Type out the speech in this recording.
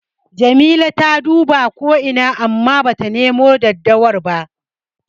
Jamila ta duba ko ina amma bata nemo daddawar ba.